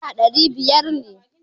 Naira dari biyar ne.